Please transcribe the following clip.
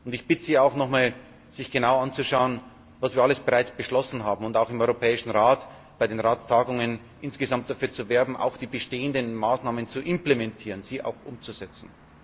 Ich bitte Sie auch noch einmal, sich genau anzuschauen, was wir alles bereits beschlossen haben, und auch im Europäischen Rat bei den Ratstagungen insgesamt dafür zu werben, auch die bestehenden Maßnahmen zu implementieren, sie auch umzusetzen.